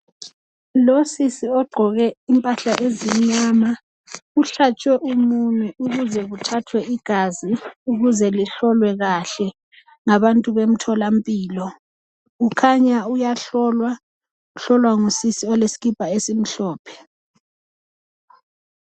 Losiisi ogqoke impahla ezimnyama uhlatshwe umunwe ukuze kuthathwe igazi, ukuze lihlolwe kahle ngabantu bemtholampilo kukhanya uyahlolwa. Uhlolwa ngusisi olesikipa esimhlophe.